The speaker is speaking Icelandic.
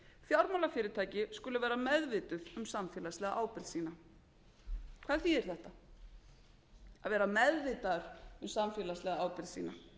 fjármálafyrirtæki skulu vera meðvituð um samfélagslega ábyrgð sína hvað þýðir þetta að vera meðvitaður um samfélagslega ábyrgð sína